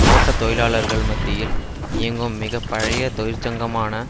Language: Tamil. தோட்ட தொழிலாளர்கள் மத்தியில் இயங்கும் மிக பழைய தொழிற்சங்கமான